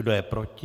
Kdo je proti?